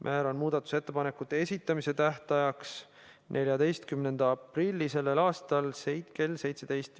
Määran muudatusettepanekute esitamise tähtajaks 14. aprilli kell 17.